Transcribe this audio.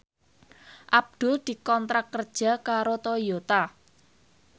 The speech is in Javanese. Abdul dikontrak kerja karo Toyota